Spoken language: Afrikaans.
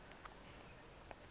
soort visvangste